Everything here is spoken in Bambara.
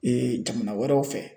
Ee jamana wɛrɛw fɛ